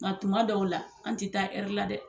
Nka tuma dɔw la an tɛ taa la dɛ